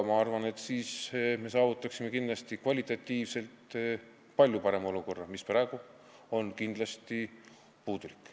Ma arvan, et siis me saavutaksime kvalitatiivselt palju parema olukorra, praegu on see kindlasti puudulik.